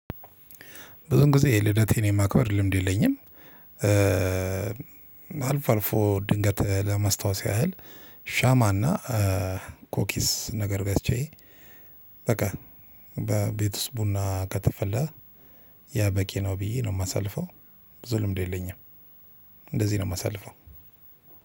ብዙን ጊዜ የልደቴን የማክበር ልምድ የለኝም። አልፎ አልፎ ድንገት ለመስታወስ ያህል ሻማና ኮኪስ ነገር ገዝቼ በቃ በቤት ውስጥ ቡና ከተፈላ ያ በቂ ነው ብዬ ነው እማሳልፈው። ብዙ ልምድ የለኝም። እንደዚህ ነው እማሳልፈው።